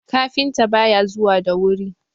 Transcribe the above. kafinta ba ya zuwa da wuri!